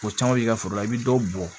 Ko caman b'i ka foro la i bi dɔ bɔn